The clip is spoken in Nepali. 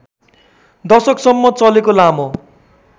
दशकसम्म चलेको लामो